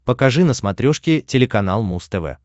покажи на смотрешке телеканал муз тв